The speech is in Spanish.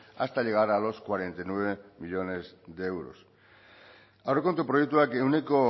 hasta llegar a los cuarenta y nueve millónes de euros aurrekontu proiektuan ehuneko